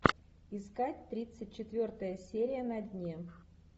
искать тридцать четвертая серия на дне